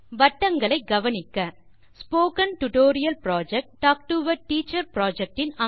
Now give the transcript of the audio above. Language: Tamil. வட்டங்களை கவனிக்க டால்க் டோ ஆ டீச்சர் திட்டத்தின் பகுதியான ஸ்போக்கன் டியூட்டோரியல் திட்டத்தை நினைவு கூறுகிறேன்